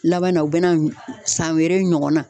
Laban na o bena san wɛrɛ ɲɔgɔnna